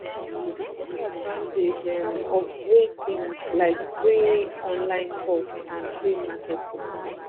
take advantage of free things like free online course and free marketing